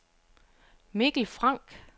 Mikkel Frank